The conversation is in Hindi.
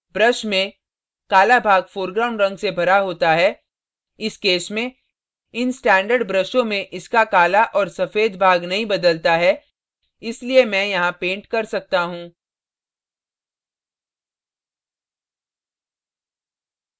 brush में काला भाग foreground in से भरा होता है इस case में इन standard ब्रशों में इसका काला और सफ़ेद भाग नहीं बदलता है इसलिए मैं यहाँ paint कर सकता हूँ